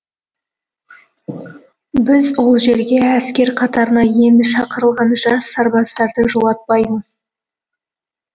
біз ол жерге әскер қатарына енді шақырылған жас сарбаздарды жолатпаймыз